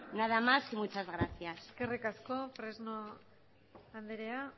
nada más y muchas gracias eskerrik asko fresno andrea